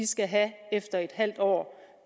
skal have efter et halvt år